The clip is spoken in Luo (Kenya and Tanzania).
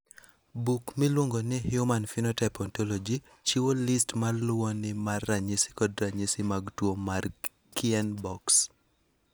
Buk miluongo ni Human Phenotype Ontology chiwo list ma luwoni mar ranyisi kod ranyisi mag tuo mar Kienbocks.